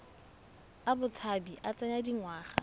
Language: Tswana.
a botshabi a tsaya dingwaga